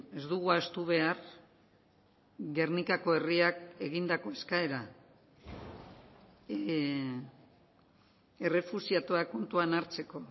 ez dugu ahaztu behar gernikako herriak egindako eskaera errefuxiatuak kontuan hartzeko